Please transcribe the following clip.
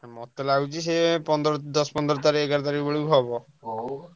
ମତେ ଲାଗୁଛି ସେ ପନ୍ଦର ଦଶ ପନ୍ଦର ତାରିଖ ଏଗାର ତାରିଖ ବେଳକୁ ହବ ।